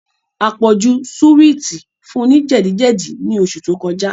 Àpọ̀jù súwìtì fun ní jẹ̀díjẹ̀dí ní oṣù tó kọjá